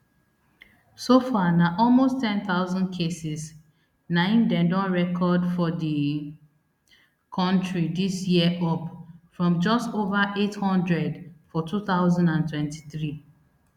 so far na almost ten thousand cases na im dem don record for di kontri dis year up from just over eight hundred for two thousand and twenty-three